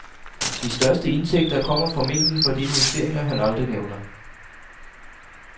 De største indtægter kommer formentlig fra de investeringer, han aldrig nævner.